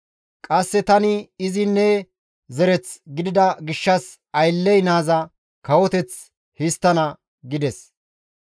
Qasse tani izi ne zereth gidida gishshas aylley naaza kawoteth histtana» gides.